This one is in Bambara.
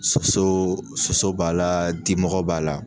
Soso soso, soso b'a la, dimɔgɔ b'a la.